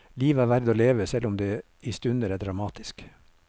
Livet er verd å leve, selv om det i stunder er dramatisk.